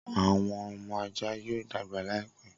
Awọn ọmọ ajá yoo dagba laipe.